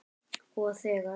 Og þegar